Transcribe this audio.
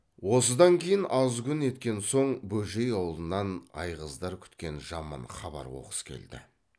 осыдан кейін аз күн еткен соң бөжей аулынан айғыздар күткен жаман хабар оқыс келді